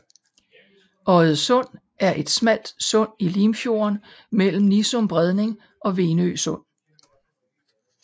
Oddesund er et smalt sund i Limfjorden mellem Nissum Bredning og Venø Sund